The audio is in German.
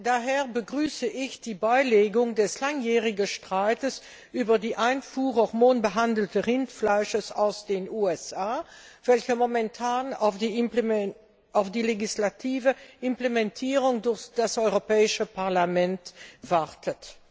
Daher begrüße ich die Beilegung des langjährigen Streits über die Einfuhr von hormonbehandeltem Rindfleisch aus den USA, welcher momentan auf die legislative Implementierung durch das Europäische Parlament wartet.